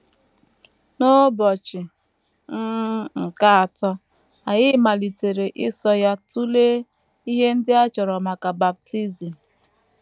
N’ụbọchị um nke atọ, anyị malitere iso ya tụlee ihe ndị a chọrọ maka baptism.